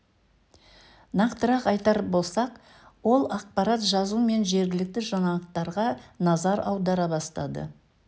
нақтырақ айтар болсақ ол ақпарат жазу мен жергілікті жаңалықтарға назар аудара бастады